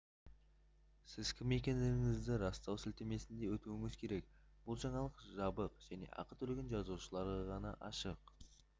сіз кім екендігіңізді растау сілтемесіне өтуіңіз керек бұл жаңалық жабық және ақы төлеген жазылушыларға ғана ашық